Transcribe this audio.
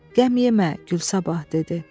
Qəm yemə, Gülsabah dedi.